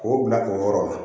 K'o bila o yɔrɔ la